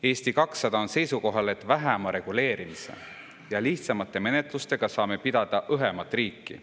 Eesti 200 on seisukohal, et vähema reguleerimise ja lihtsamate menetlustega saame pidada õhemat riiki.